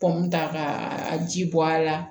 ta ka a ji bɔ a la